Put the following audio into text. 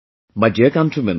My dear countrymen,